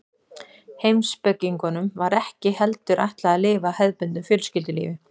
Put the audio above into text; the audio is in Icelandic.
heimspekingunum var ekki heldur ætlað að lifa hefðbundnu fjölskyldulífi